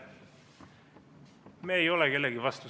Me ei ole kellegi vastu.